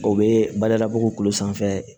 O bɛ badabugu tulo sanfɛ